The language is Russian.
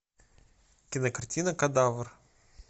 кинокартина кадавр